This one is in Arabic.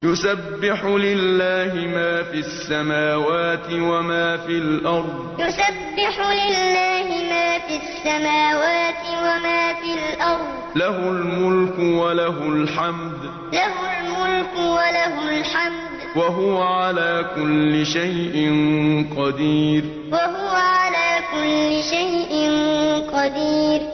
يُسَبِّحُ لِلَّهِ مَا فِي السَّمَاوَاتِ وَمَا فِي الْأَرْضِ ۖ لَهُ الْمُلْكُ وَلَهُ الْحَمْدُ ۖ وَهُوَ عَلَىٰ كُلِّ شَيْءٍ قَدِيرٌ يُسَبِّحُ لِلَّهِ مَا فِي السَّمَاوَاتِ وَمَا فِي الْأَرْضِ ۖ لَهُ الْمُلْكُ وَلَهُ الْحَمْدُ ۖ وَهُوَ عَلَىٰ كُلِّ شَيْءٍ قَدِيرٌ